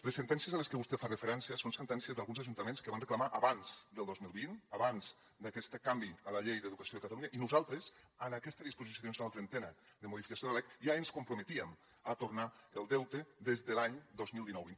les sentències a les que vostè fa referència són sentències d’alguns ajuntaments que van reclamar abans del dos mil vint abans d’aquest canvi a la llei d’educació de catalunya i nosaltres en aquesta disposició addicional trentena de modificació de la lec ja ens comprometíem a tornar el deute des de l’any dos mil dinou vint